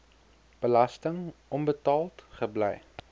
belasting onbetaald gebly